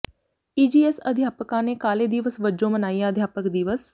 EGS ਅਧਿਆਪਕਾਂ ਨੇ ਕਾਲੇ ਦਿਵਸ ਵਜੋਂ ਮਨਾਇਆ ਅਧਿਆਪਕ ਦਿਵਸ